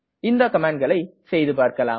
இந்த கமாண்ட்களை செய்துபார்க்கலாம்